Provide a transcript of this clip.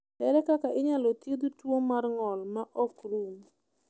Ere kaka inyalo thiedh tuo mar ng’ol ma ok rum?